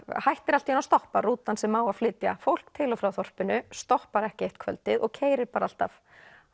hættir allt í einu að stoppa rútan sem á að flytja fólk til og frá þorpinu stoppar ekki eitt kvöldið og keyrir bara alltaf